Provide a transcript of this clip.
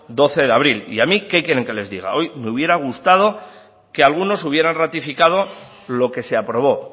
doce de abril y a mí qué quieren que les diga hoy me hubiera gustado que algunos hubieran ratificado lo que se aprobó